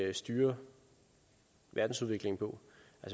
at styre verdensudviklingen på